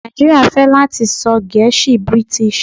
Naijiria fẹ lati sọ gẹ̀ẹ́sì British.